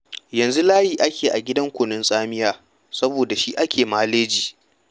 Yanzu layi ake yi a gidan kunun tsamiya saboda da shi ake maleji.